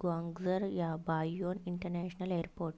Guangzhou Baiyun international airport